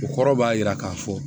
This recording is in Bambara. O kɔrɔ b'a jira k'a fɔ